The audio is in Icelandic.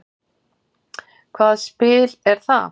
Hvað spil er það?